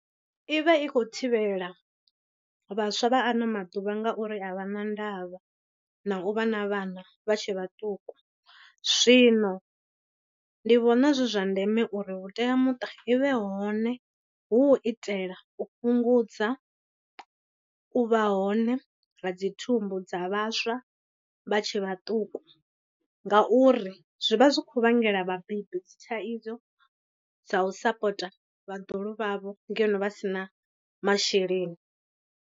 I vha i khou thivhela vhaswa vha ano maḓuvha ngauri a vha na ndavha na u vha na vhana vha tshe vhaṱuku. Zwino ndi vhona zwi zwa ndeme uri vhuteamuṱa i vhe hone hu u itela u fhungudza u vha hone ra dzi thumbu dza vhaswa vha tshe vhaṱuku ngauri zwi vha zwi kho vhangela vhabebi dzi thaidzo dza u sapota vhaḓuhulu vhavho ngeno vha si na masheleni ane.